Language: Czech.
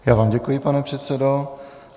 Já vám děkuji, pane předsedo.